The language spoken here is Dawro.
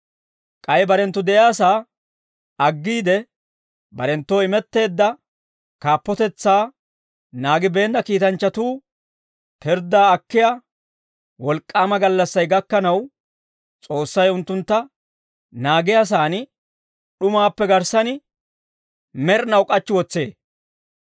K'ay barenttu de'iyaasaa aggiide, barenttoo imetteedda kaappotetsaa naagibeenna kiitanchchatuu pirddaa akkiyaa wolk'k'aama gallassay gakkanaw S'oossay unttuntta naagiyaasan, d'umaappe garssan med'inaw k'achchi wotsee.